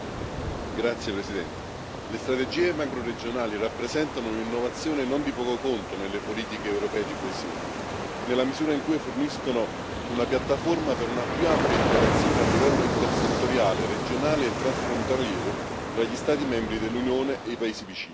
Signora Presidente, onorevoli colleghi, le strategie macroregionali rappresentano un'innovazione non di poco conto nelle politiche europee di coesione, nella misura in cui forniscono una piattaforma per una più ampia interazione a livello intersettoriale, regionale e transfrontaliero tra gli Stati membri dell'Unione e i paesi vicini.